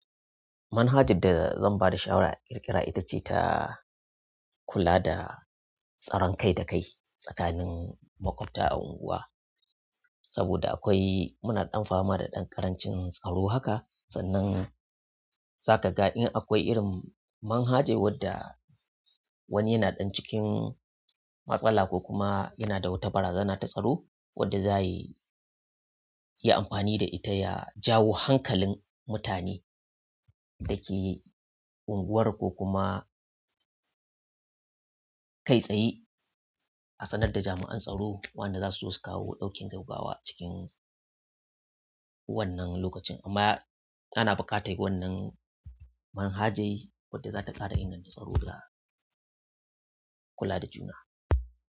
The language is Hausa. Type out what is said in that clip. Manhajar da zan ba da shawara akirƙira ita ce ta kula da tsaron kai da kai tsakanin maƙwabta a unguwa. Saboda akwai muna ɗan fama da ɗan ƙarancin tsaro haka sannan za ka ga in akwai irin manhajar wadda wani yana ɗan cikin matsala ko kuma yana da wata barazana ta tsaro wadda za yi yi amfani da ita ya jawo hankalin mutane da ke unguwar ko kuma kai tsaye a sanar da jami'an tsaro. Waɗanda za su so su kawo ɗaukin gaggawa a cikin wannan lokacin. Amma ana buƙatar wannan manhajar wadda za ta ƙara ingantaccen tsaro da kula da juna.